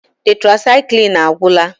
Tetrasaịklin agwụla.